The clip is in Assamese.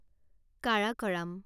কাৰাকৰাম